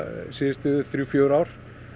síðustu þrjú fjögur ár